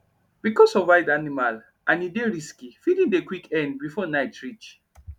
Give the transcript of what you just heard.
becos of wild animal and e dey risky feeding dey quick end before night reach